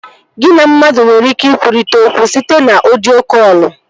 Gị na mmadụ nwere ike ikwurịta okwu site na ọdio kọlụ